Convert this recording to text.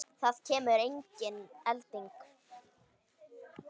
Það kemur engin elding.